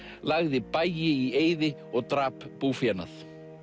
lagði bæi í eyði og drap búfénað